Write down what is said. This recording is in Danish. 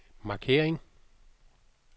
markering